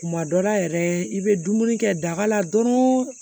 Kuma dɔ la yɛrɛ i bɛ dumuni kɛ daga la dɔrɔn